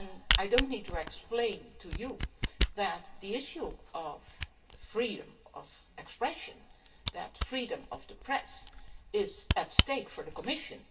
I do not need to explain to you that the issue of freedom of expression and freedom of the press is what is at stake for the Commission